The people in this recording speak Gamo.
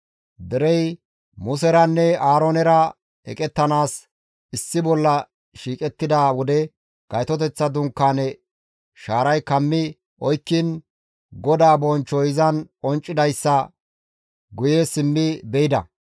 Derey Museranne Aaroonera eqettanaas issi bolla shiiqettida wode Gaytoteththa Dunkaaneza shaaray kammi oykkiin GODAA bonchchoy izan qonccidayssa guye simmi be7idos.